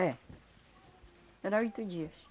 É. Era oito dias.